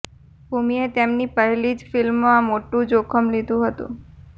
ભૂમિએ તેમની પહેલી જ ફિલ્મમાં મોટું જોખમ લીધું હતું